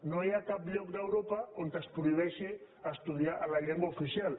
no hi ha cap lloc d’europa on es prohibeixi estudiar en la llengua oficial